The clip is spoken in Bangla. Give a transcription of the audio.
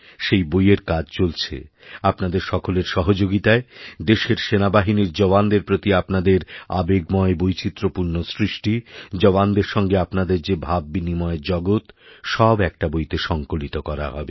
সেই বইয়ের কাজ চলছেআপনাদের সকলের সহযোগিতায় দেশের সেনাবাহিনীর জওয়ানদের প্রতি আপনাদের আবেগময় বৈচিত্র্যপূর্ণসৃষ্টি জওয়ানদের সঙ্গে আপনাদের যে ভাব বিনিময়ের জগৎ সব একটা বইতে সংকলিত করাহবে